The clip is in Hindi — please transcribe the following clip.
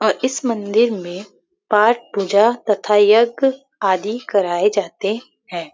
और इस मंदिर मे पाठ पूजा तथा यज्ञ आदि कराये जाते है।